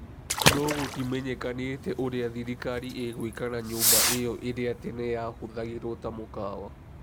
No gutimenyekanĩte ũrĩa thirikari ĩgwĩka na nyũmba ĩyo ĩria tene yahuthagĩrwo ta mukawa.